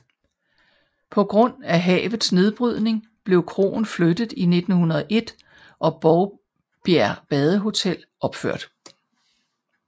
På grund af havets nedbrydning blev kroen flyttet i 1901 og Bovbjerg Badehotel opført